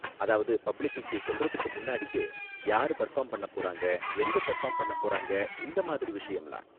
அதாவது பப்ளிக்குக்கு சொல்றதுக்கு முன்னாடியே யாரு பெர்ஃபார்ம் பண்ண போறாங்க எங்க பெர்ஃபார்ம் பண்ண போறாங்க இந்த மாதிரி விஷயம்லாம்.